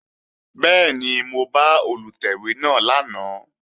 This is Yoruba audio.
Bẹ́ẹ̀ni, mo bá Olùtẹ̀wé náà lánàá